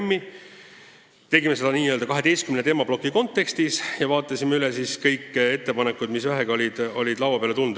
Me käsitlesime eelnõu n-ö 12 teemaplokis ja vaatasime üle kõik ettepanekud, mis olid laua peale tulnud.